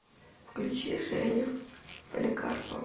включи женю поликарпову